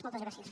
moltes gràcies